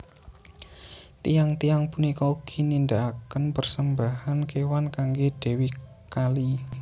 Tiyang tiyang punika ugi nindakaken persembahan kéwan kanggé dèwi Kali